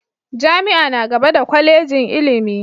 Jami'a na gaba da Kwallejin ilimi.